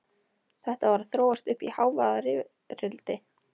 Þetta var að þróast uppí hávaðarifrildi.